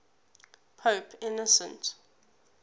pope innocent